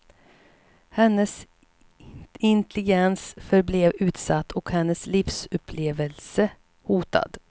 Hennes intelligens förblev utsatt och hennes livsupplevelse hotad.